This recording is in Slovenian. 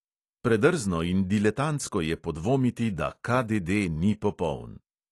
Predrzno in diletantsko je podvomiti, da KDD ni popoln.